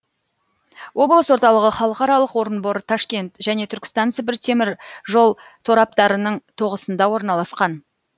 облыс орталығы халықаралық орынбор ташкент және түркістан сібір теміржол тораптарының тоғысында орналасқан